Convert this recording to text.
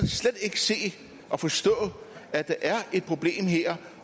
slet ikke se og forstå at der er et problem her